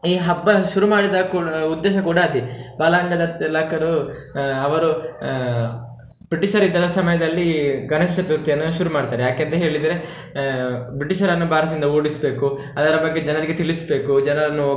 ಈ ಹಬ್ಬ ಶುರು ಮಾಡಿದ ಉದ್ದೇಶ ಕೂಡ ಅದೇ ಬಾಲಗಂಗಾಧರ್ ತಿಲಕರು ಆ ಅವರು ಆ british ರಿದ್ದ ಸಮಯದಲ್ಲಿ ಗಣೇಶ ಚತುರ್ಥಿಯನ್ನು ಶುರು ಮಾಡ್ತಾರೆ ಯಾಕಂತೆ ಹೇಳಿದ್ರೆ ಆಹ್ british ರನ್ನು ಭಾರತದಿಂದ ಓದಿಸ್ಬೇಕು ಅದರ ಬಗ್ಗೆ ಜನರಿಗೆ ತಿಳಿಸ್ಬೇಕು ಜನರನ್ನು.